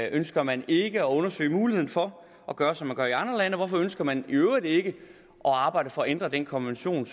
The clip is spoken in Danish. ønsker man ikke at undersøge muligheden for at gøre som man gør i andre lande hvorfor ønsker man i øvrigt ikke at arbejde for at ændre den konvention